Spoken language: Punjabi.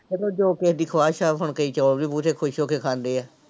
ਮਤਲਬ ਜੋ ਕਿਸੇ ਦੀ ਖਵਾਇਸ ਆ ਹੁਣ ਕਈ ਚੋਲ ਵੀ ਬਹੁਤੇ ਖ਼ੁਸ਼ ਹੋ ਕੇ ਖਾਂਦੇ ਆ।